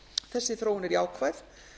þessi þróun er jákvæð